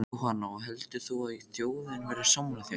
Jóhanna: Og heldur þú að þjóðin verði sammála þér?